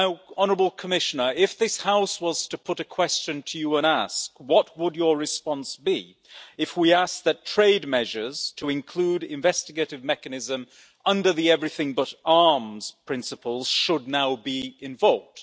Honourable Commissioner, if this House was to put a question to you and ask, what would your response be if we asked that trade measures to include investigative mechanism under the Everything but Arms' principles should now be invoked?